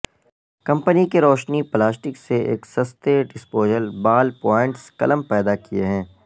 company کی روشنی plastic سے ایک سستے ڈسپوزایبل بال پوائنٹ قلم پیدا کئے ہیں